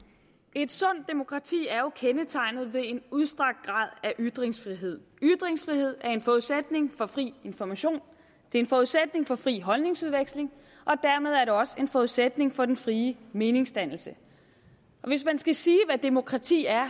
et sundt demokrati er jo kendetegnet ved en udstrakt grad af ytringsfrihed ytringsfrihed er en forudsætning for fri information det er en forudsætning for fri holdningsudveksling og dermed er det også en forudsætning for den frie meningsdannelse hvis man skal sige hvad demokrati er